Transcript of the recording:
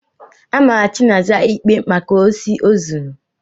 Amara Chinaza ikpe maka osi o zuru.